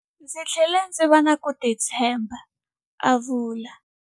Ndzi tlhele ndzi va na ku titshemba, a vula.